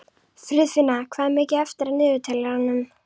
Friðfinna, hvað er mikið eftir af niðurteljaranum?